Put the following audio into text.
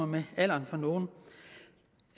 med alderen